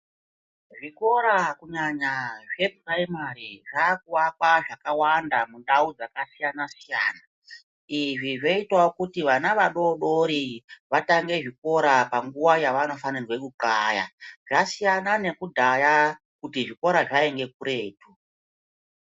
Zvikora, kunyanya zveprayimari zvakuwakwa zvakawanda mundau dzakasiyana siyana. Izvi zveyitawo kuti vana vadodori, vatange zvikora panguwa yavanofanigwe kuxaya. Zvasiyana nekudaya, kuti zvikora zvayinge kuretu.